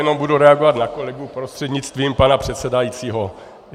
Jenom budu reagovat na kolegu prostřednictvím pana předsedajícího.